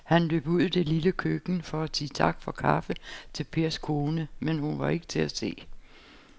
Han løb ud i det lille køkken for at sige tak for kaffe til Pers kone, men hun var ikke til at se.